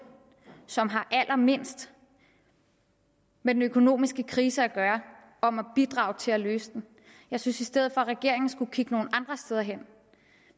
som har allermindst med den økonomiske krise at gøre om at bidrage til at løse den jeg synes i stedet for at regeringen skulle kigge nogle andre steder hen